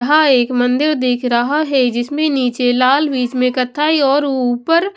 एक मंदिर दिख रहा है जिसमें नीचे लाल बीच में कथाई और ऊपर--